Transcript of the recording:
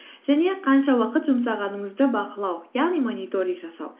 және қанша уақыт жұмсағаныңызды бақылау яғни мониторинг жасау